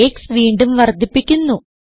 x വീണ്ടും വർദ്ധിപ്പിക്കുന്നു